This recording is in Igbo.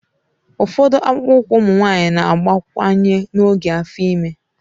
Ụfọdụ akpụkpọ ụkwụ ụmụ nwanyị na-abawanye n'oge afo ime.